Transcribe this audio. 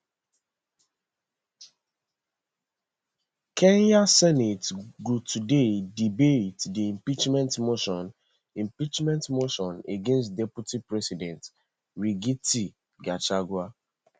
kenya senate go today debate di impeachment motion impeachment motion against deputy president rigathi gachagua